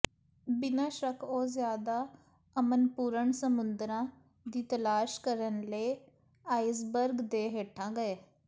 ਬਿਨਾਂ ਸ਼ੱਕ ਉਹ ਜ਼ਿਆਦਾ ਅਮਨਪੂਰਣ ਸਮੁੰਦਰਾਂ ਦੀ ਤਲਾਸ਼ ਕਰਨ ਲਈ ਆਈਸਬਰਗ ਦੇ ਹੇਠਾਂ ਗਏ